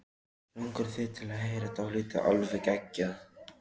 Langar þig til að heyra dálítið alveg geggjað?